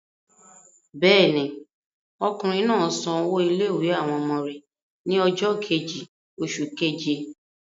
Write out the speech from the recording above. Bẹ́ẹ̀ ni, ọkùnrin náà san owó ilé-ìwé àwọn ọmọ rẹ̀ ní ọjọ́ kejì oṣù keje.